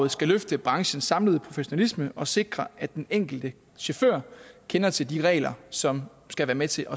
skal løfte branchens samlede professionalisme og sikre at den enkelte chauffør kender til de regler som skal være med til